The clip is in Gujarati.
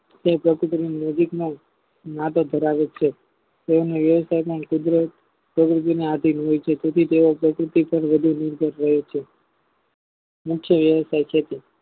તે પ્રેસીકરણ મૂળભૂતમાં માટે ભરાવે છે તેઓની વ્યવસ્થાપના કુદરત હોય છે તેથી તેઓ પ્રકૃતિને આધીન હોય છે તેથી તેઓ પ્રકૃતિ પાર વધુ નિર્ભર હોય છે નીચે લેવાતા ક્ષેત્રો